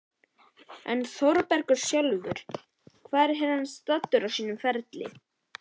En Þórbergur sjálfur, hvar er hann staddur á sínum ferli?